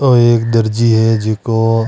ओ एक दर्जी है जीको --